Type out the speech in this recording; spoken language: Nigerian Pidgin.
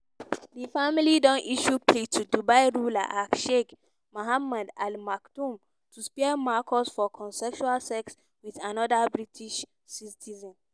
"di family don issue plea to dubai ruler hh sheikh mohammed al maktoum to spare marcus for consensual sex wit anoda british citizen."